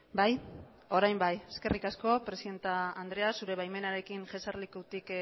bai orain bai eskerrik asko presidente andrea zure baimenarekin jesarlekutik